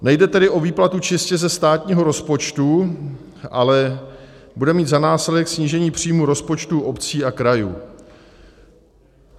Nejde tedy o výplatu čistě ze státního rozpočtu, ale bude mít za následek snížení příjmů rozpočtů obcí a krajů.